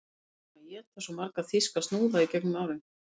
Við erum búin að éta svo marga þýska snúða í gegnum árin